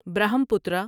Brahmaputra